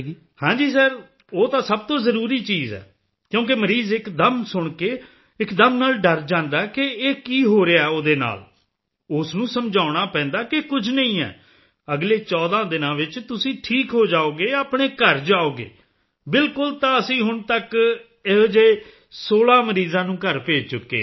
ਹਾਂ ਜੀ ਸਰ ਉਹ ਤਾਂ ਸਭ ਤੋਂ ਜ਼ਰੂਰੀ ਚੀਜ਼ ਹੈ ਕਿਉਂਕਿ ਮਰੀਜ਼ ਇੱਕਦਮ ਸੁਣ ਕੇ ਇੱਕਦਮ ਨਾਲ ਡਰ ਜਾਂਦਾ ਹੈ ਕਿ ਇਹ ਕੀ ਹੋ ਰਿਹਾ ਹੈ ਉਹਦੇ ਨਾਲ ਉਸ ਨੂੰ ਸਮਝਾਉਣਾ ਪੈਂਦਾ ਹੈ ਕੁਝ ਨਹੀਂ ਹੈ ਅਗਲੇ 14 ਦਿਨ ਵਿੱਚ ਤੁਸੀਂ ਠੀਕ ਹੋ ਜਾਓਗੇ ਆਪਣੇ ਘਰ ਜਾਓਗੇ ਬਿਲਕੁਲ ਤਾਂ ਅਸੀਂ ਹੁਣ ਤੱਕ ਅਜਿਹੇ 16 ਮਰੀਜ਼ਾਂ ਨੂੰ ਘਰ ਭੇਜ ਚੁੱਕੇ ਹਾਂ